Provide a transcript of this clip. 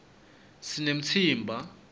sinemtsimba